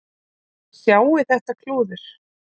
Sjáið þið þetta klúður